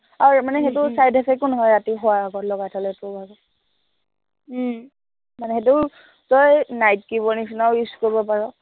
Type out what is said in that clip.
আৰু সেইটো মানে side effect ও নহয়, ৰাতি শুৱাৰ আগত লগাই থলে তোৰ ভাগৰ মানে সেইটো তই night cream ৰ নিচিনাও use কৰিব পাৰ